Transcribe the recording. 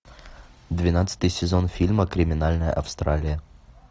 двенадцатый сезон фильма криминальная австралия